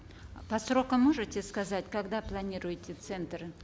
по срокам можете сказать когда планируете центр